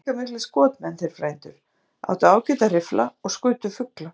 Þeir voru líka miklir skotmenn, þeir frændur, áttu ágæta riffla og skutu fugla.